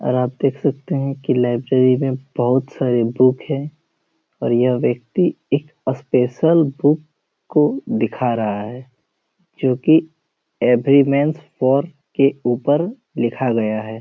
और आप देख सकते हैं कि लाइब्रेरी में बहुत सारा बुक है और यह व्यक्ति एक स्पेशल बुक को दिखा रहा है जो की येवरीमेन हेयर के ऊपर लिखा गया है।